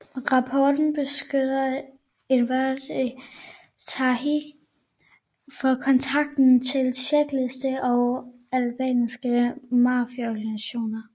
Rapporten beskylder endvidere Thaçi for kontakter til tjekkiske og albanske mafiaorganisationer